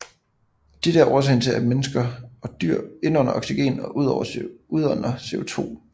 Dette er årsagen til at mennesker og dyr indånder oxygen og udånder CO2